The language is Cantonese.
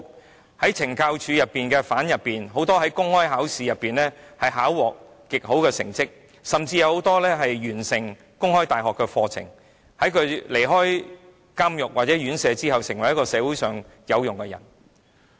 有很多懲教署的囚犯在公開考試考獲極好的成績，甚至有多人完成了香港公開大學的課程，在離開監獄或院所後成為社會上有用的人。